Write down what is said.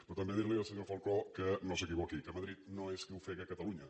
però també dir li al senyor falcó que no s’equivoqui que madrid no és qui ofega catalunya